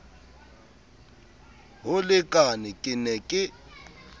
ho lekane ke ne ke